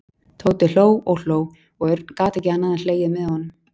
Tóti hló og hló og Örn gat ekki annað en hlegið með honum.